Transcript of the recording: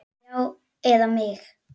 Já, eða mig?